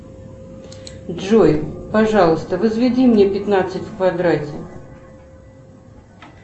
джой пожалуйста возведи мне пятнадцать в квадрате